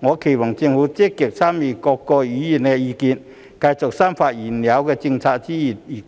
我期望政府積極參考各位議員的意見，繼續深化現有政策之餘，亦